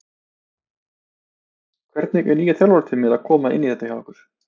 Hvernig er nýja þjálfarateymið að koma inn í þetta hjá ykkur?